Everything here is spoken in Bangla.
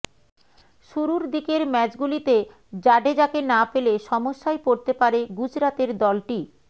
শুরুর দিকের ম্যাচগুলিতে জাডেজাকে না পেলে সমস্যায় পড়তে পারে গুজরাতের দলটি